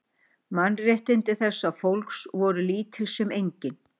Mannréttindi þessa fólks voru lítil sem engin.